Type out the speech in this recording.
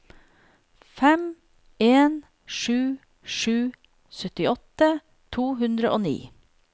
fem en sju sju syttiåtte to hundre og ni